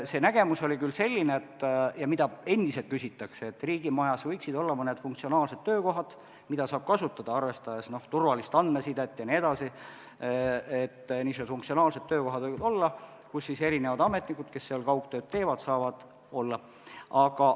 See nägemus oli küll selline ja selle kohta endiselt küsitakse, et riigimajas võiksid olla mõned funktsionaalsed töökohad, arvestades turvalist andmesidet jne, kus ametnikud, kes kaugtööd teevad, saaksid töötada.